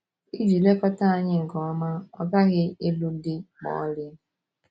Iji lekọta anyị nke ọma, ọ gaghị ịlụ di ma ọlị.